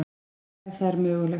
Ef það er mögulegt.